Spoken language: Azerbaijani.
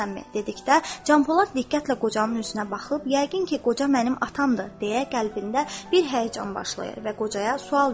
dedikdə Canpolad diqqətlə qocanın üzünə baxıb, yəqin ki, qoca mənim atamdır, deyə qəlbində bir həyəcan başlayır və qocaya sual verir.